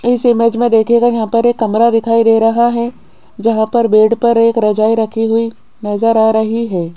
इस इमेज में देखिएगा यहां पर एक कमरा दिखाई दे रहा है जहां पर बेड पर एक रजाई रखी हुई नजर आ रही है।